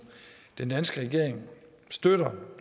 den danske regering støtter